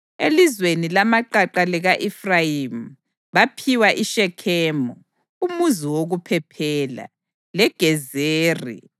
Elizweni lamaqaqa lika-Efrayimi baphiwa iShekhemu (umuzi wokuphephela) leGezeri,